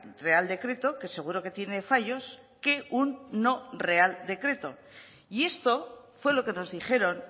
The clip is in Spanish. real decreto que seguro que tiene fallos que un no real decreto y esto fue lo que nos dijeron